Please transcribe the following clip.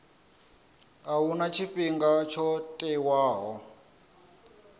a huna tshifhinga tsho tiwaho